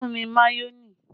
Olú fún mi mayonẹ